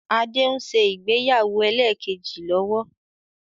Adé ń ṣe ìgbéyàwó ẹlẹ́kẹ́jì lọ́wọ́